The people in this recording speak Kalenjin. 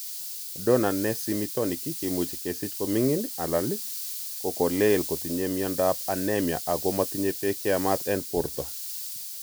Donor ne simitonik kimuche kesich komigin alan ko kolel kotinye miondap anaemia ago motinye pek cheyamat en porto.